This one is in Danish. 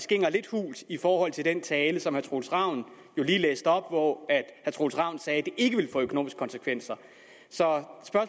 klingrer lidt hult i forhold til den tale som herre troels ravn lige læste op hvor herre troels ravn sagde at det ikke ville få økonomiske konsekvenser så